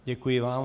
Děkuji vám.